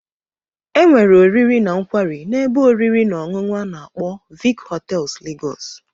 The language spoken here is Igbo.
Enwere oriri na nkwari na ebe oriri na onunu ana agbo Vic hotels Lagos.